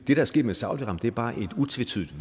er sket med saudi arabien bare er et utvetydigt